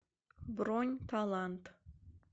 бронь талант